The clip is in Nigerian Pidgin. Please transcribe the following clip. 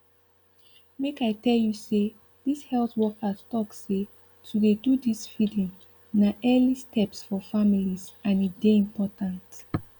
make i tell you say this health workers talk seh to dey do this feeding na early steps for families and e dey important